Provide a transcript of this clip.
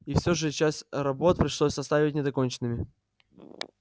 и все же часть работ пришлось оставить недоконченными